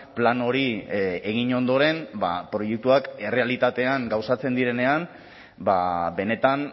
plan hori egin ondoren proiektuak errealitatean gauzatzen direnean benetan